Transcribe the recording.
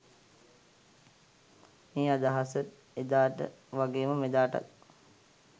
මේ අදහස එදාට වගේම මෙදාටත්